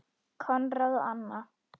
Konráð og Anna.